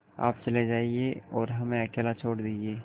आप चले जाइए और हमें अकेला छोड़ दीजिए